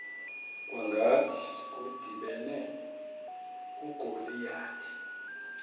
kwangathi kudibene ugoliyathi